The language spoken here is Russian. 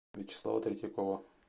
вячеслава третьякова